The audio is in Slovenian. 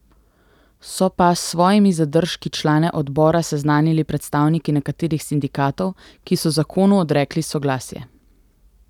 So pa s svojimi zadržki člane odbora seznanili predstavniki nekaterih sindikatov, ki so zakonu odrekli soglasje.